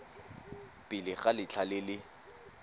pele ga letlha le le